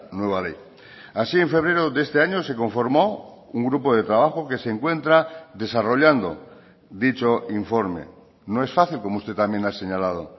nueva ley así en febrero de este año se conformó un grupo de trabajo que se encuentra desarrollando dicho informe no es fácil como usted también ha señalado